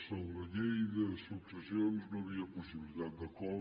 sobre la llei de successions no hi havia possibilitat d’acord